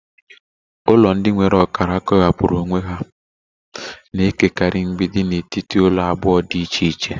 Ụlọ ndị nwere ọkara kewapụrụ onwe ha na-ekekọrịta mgbidi na etiti ụlọ abụọ dị iche iche.